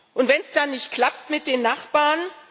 Und wenn es dann nicht klappt mit den Nachbarn?